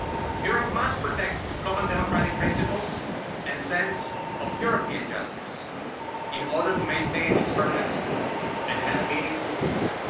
Europe must protect common democratic principles and the sense of European justice in order to maintain its purpose and have a meaningful future.